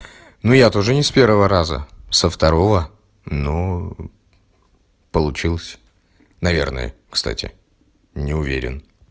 ну я тоже не с первого раза со второго но получилось наверное кстати не уверен